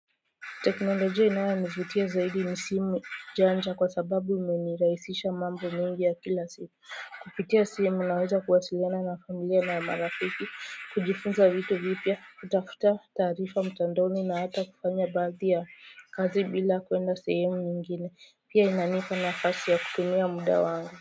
Teknolojia inayonivutia zaidi ni simu janja kwa sababu imeniraisisha mambo mingi ya kila siku kupitia simu naweza kuwasiliana na familia na marafiki kujifunza vitu vipia kutafuta taarifa mtandoni na hata kufanya baadhi ya kazi bila kuenda sehemu nyingine pia inanipa nafasi ya kutumia muda wangu.